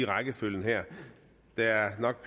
rækkefølgen her der er nok